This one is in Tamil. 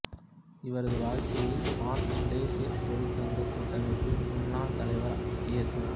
இவரது வாழ்க்கையில் பான் மலேசியத் தொழிற்சங்க கூட்டமைப்பின் முன்னாள் தலைவர் எசு